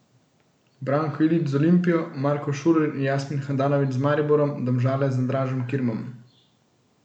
Branko Ilić z Olimpijo, Marko Šuler in Jasmin Handanović z Mariborom, Domžale z Andražem Kirmom ...